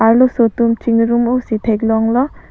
arloso tum chingrum o si theklonglo.